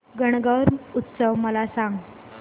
गणगौर उत्सव मला सांग